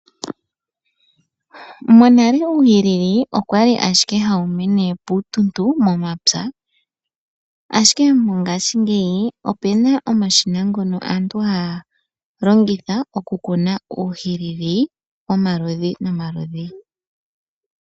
Monale uuhilili owali owala hawu mene piituntu momapya, ashike mongaashingeyi opu na omashina ngono aantu haa longitha okukuna uuhilili womaludhi nomaludhi.